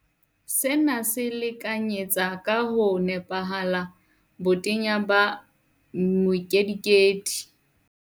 Sena se lekanyetsa ka ho nepahala botenya ba mokedikedi